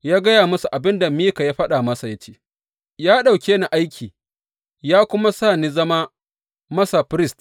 Ya gaya musu abin da Mika ya faɗa masa ya ce, Ya ɗauke ni aiki ya kuma sa in zama masa firist.